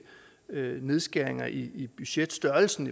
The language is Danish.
nedskæringer i budgetstørrelsen